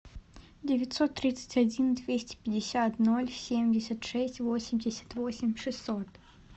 девятьсот тридцать один двести пятьдесят ноль семьдесят шесть восемьдесят восемь шестьсот